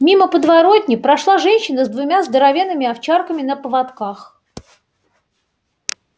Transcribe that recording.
мимо подворотни прошла женщина с двумя здоровенными овчарками на поводках